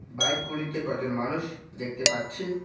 Bike গুলিতে কজন মানুষ দেখতে পাচ্ছি।